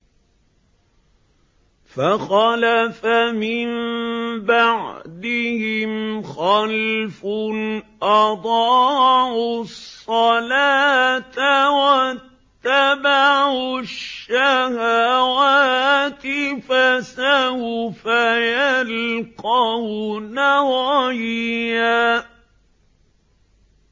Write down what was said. ۞ فَخَلَفَ مِن بَعْدِهِمْ خَلْفٌ أَضَاعُوا الصَّلَاةَ وَاتَّبَعُوا الشَّهَوَاتِ ۖ فَسَوْفَ يَلْقَوْنَ غَيًّا